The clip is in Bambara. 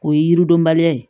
O ye yiridonba ye